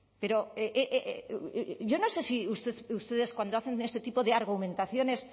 pero yo no sé si ustedes cuando hacen este tipo de argumentaciones